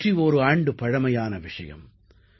101 ஆண்டு பழமையான விஷயம்